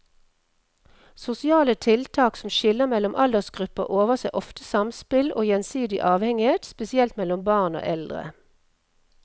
Sosiale tiltak som skiller mellom aldersgrupper overser ofte samspill og gjensidig avhengighet, spesielt mellom barn og eldre.